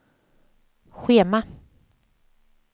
schema